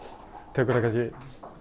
tekur það kannski